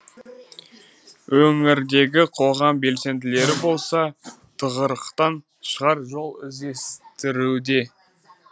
өңірдегі қоғам белсенділері болса тығырықтан шығар жол іздестіруде